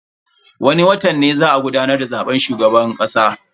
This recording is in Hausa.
Wani watan ne za a gudanar da zaben shugaban kasa.